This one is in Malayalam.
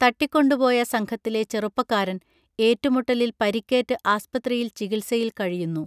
തട്ടിക്കൊണ്ടുപോയ സംഘത്തിലെ ചെറുപ്പക്കാരൻ ഏറ്റുമുട്ടലിൽ പരിക്കേറ്റ് ആസ്പത്രിയിൽ ചികിത്സയിൽ കഴിയുന്നു